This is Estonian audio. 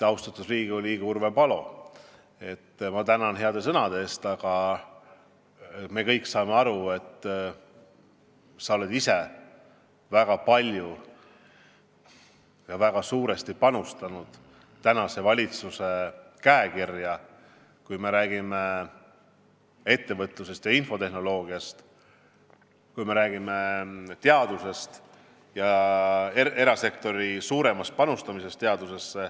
Austatud Riigikogu liige Urve Palo, ma tänan heade sõnade eest, aga me kõik saame aru, et sa oled ise väga palju ja väga suuresti panustanud tänase valitsuse käekirja, kui me räägime ettevõtlusest ja infotehnoloogiast, kui me räägime teadusest ja erasektori suuremast panustamisest teadusesse.